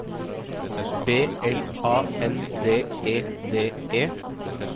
B L A N D E D E